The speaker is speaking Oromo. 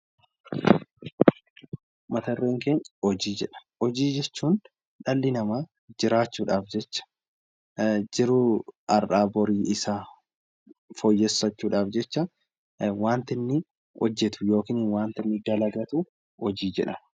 Mata dureen keenya 'Hojii' jedha. Hojii jechuun dhalli namaa jiraachuu dhaaf jecha jiruu har'aa borii isaa fooyyeffachuu dhaaf jecha wanta inni hojjetu yookiin wanta inni dalagatu 'Hojii' jedhama.